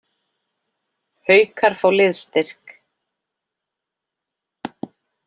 Haukar fá liðsstyrk